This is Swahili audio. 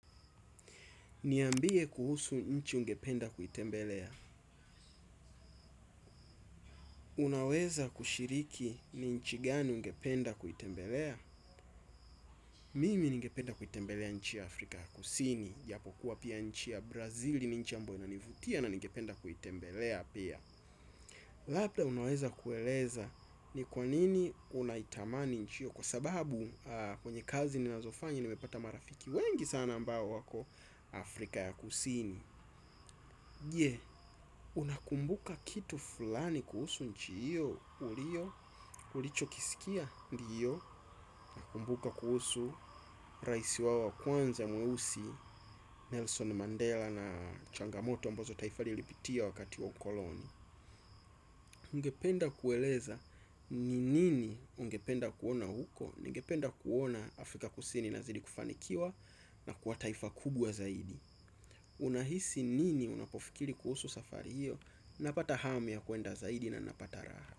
Niambie kuhusu nchi ungependa kuitembelea. Unaweza kushiriki ni nchi gani ungependa kuitembelea? Mimi ningependa kuitembelea nchi Afrika ya Kusini. Japo kuwa pia nchi ya Brazil nchi ya ambayo inanivutia na ngependa kuitembelea pia. Lapda unaweza kueleza ni kwanini unaitamani nchi hiyo. Kwa sababu kwenye kazi ninazofanya nimepata marafiki wengi sana ambao wako Afrika ya Kusini. Je unakumbuka kitu fulani kuhusu nchi hiyo, ulicho kisikia ndio. Nakumbuka kuhusu raisi wao wa kwanza mweusi Nelson Mandela na changamoto ambazo taifa lilipitia wakati wa ukoloni UNgependa kueleza ni nini ungependa kuona huko, ningependa kuona Afrika kusini inazidi kufanikiwa na kwa taifa kubwa zaidi. Unahisi nini unapofikiri kuhusu safari hiyo. Napata hamu ya kwenda zaidi na napata raha.